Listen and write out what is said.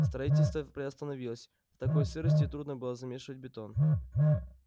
строительство приостановилось в такой сырости трудно было замешивать бетон